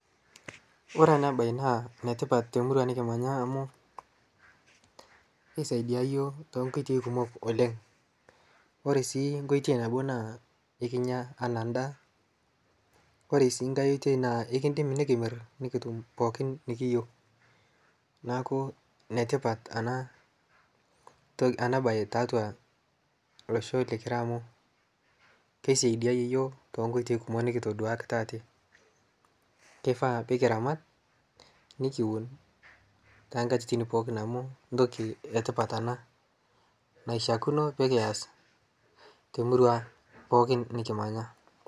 kore ena bai naa netipat te murua nikimanya amuu keisaidia yioo tonkoitoi kumok oleng', kore sii nkoitei nabo naa ikinya ana ndaa, kore sii ngai oitei naa ikindim nikimirr nikitum pooki nikiyeu naaku netipat anaa bai taatua loshoo likira amu keisaidiaya yioo tonkoitei kumok nikitoduakita ate keifaa pikiramat nikiwun tankatitin pooki amu ntoki e tipat ana naishiakino pikiyas te murua aang' pookin nikimanya.